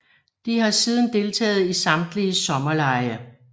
De har siden deltaget i samtlige sommerlege